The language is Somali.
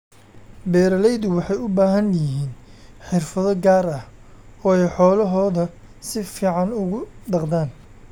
Beeralaydu waxay u baahan yihiin xirfado gaar ah oo ay xoolahooda si fiican ugu dhaqdaan.